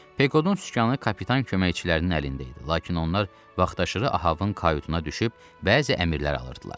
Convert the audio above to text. Pekodun sükanı kapitan köməkçilərinin əlində idi, lakin onlar vaxtaşırı Ahavın kayutuna düşüb bəzi əmrlər alırdılar.